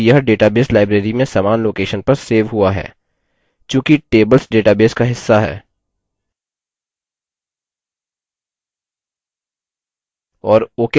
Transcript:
ध्यान दें कि यह database library में समान location पर सेव हुआ है चूंकि tables database का हिस्सा हैं